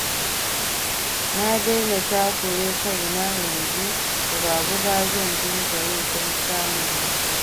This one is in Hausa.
Na daina takure kaina, yanzu buga-buga zan dinga yi don samun na kai.